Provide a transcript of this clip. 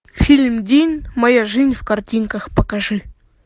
фильм дин моя жизнь в картинках покажи